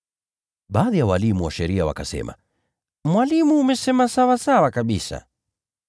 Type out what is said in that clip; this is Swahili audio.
Baadhi ya walimu wa sheria wakasema, “Mwalimu, umesema sawasawa kabisa!”